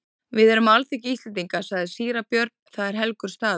Við erum á alþingi Íslendinga, sagði síra Björn,-það er helgur staður.